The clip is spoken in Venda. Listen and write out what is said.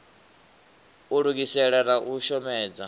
u lugisela na u shomedza